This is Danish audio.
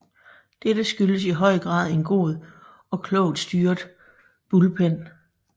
Dette skyldtes i høj grad en god og klogt styret bullpen